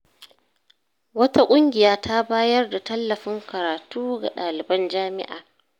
Wata ƙungiya ta bayar da tallafin karatu ga ɗaliban jami’a.